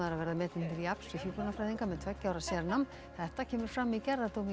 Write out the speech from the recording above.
verða metin til jafns við hjúkrunarfræðinga með tveggja ára sérnám þetta kemur fram í gerðardómi í